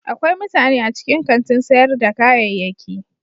Akwai mutane a cikin kantin sayar da kayayyaki.